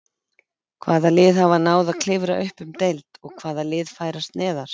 Hvaða lið hafa náð að klifra upp um deild og hvaða lið færast neðar?